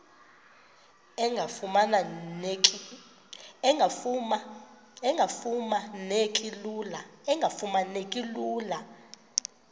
engafuma neki lula